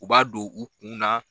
U b'a don u kunna.